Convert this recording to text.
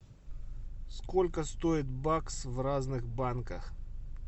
сколько стоит бакс в разных банках